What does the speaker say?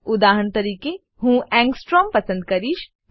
ઉદાહરણ તરીકે હું એંગસ્ટ્રોમ પસંદ કરીશ